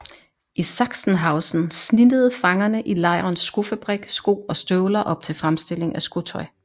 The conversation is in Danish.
I Sachsenhausen snittede fangerne i lejrens skofabrik sko og støvler op til fremstilling af skotøj